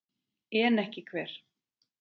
En ekki hver?